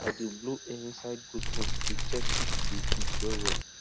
i dey blow air inside goat nose to check if e dey breathe well well